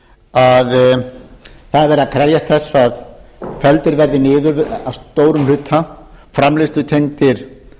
að það er verið að krefjast þess að felldir verði niður að stórum hluta framleiðslutengdir